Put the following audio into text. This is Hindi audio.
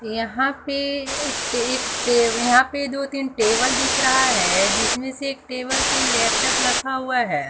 यहां पे एक एक टे यहां पे दो तीन टेबल दिख रहा है जिसमें से एक टेबल पे लैपटॉप रखा हुआ है।